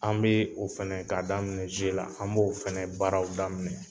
An be o fɛnɛ k'a daminɛ zuwe la an b'o fɛnɛ baaraw daminɛ